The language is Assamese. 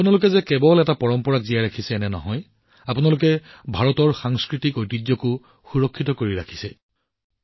আপোনালোকে কেৱল এটা পৰম্পৰা জীয়াই ৰাখিছে এনে নহয় বৰঞ্চ ভাৰতৰ সাংস্কৃতিক ঐতিহ্যকো সুৰক্ষিত কৰি আছে